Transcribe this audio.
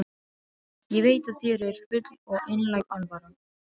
Ég veit að þér er full og einlæg alvara.